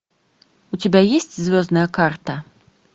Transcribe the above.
у тебя есть звездная карта